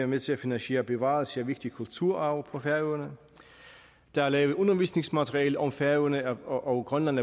med til at finansiere bevarelse af vigtig kulturarv på havene der er lavet undervisningsmaterialer om færøerne og grønland